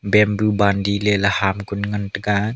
bamboo bandi ley la ham kunu ngan taga.